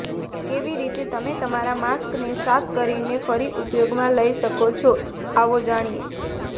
કેવી રીતે તમે તમારા માસ્કને સાફ કરીને ફરી ઉપયોગમાં લઈ શકો છો આવો જાણીએ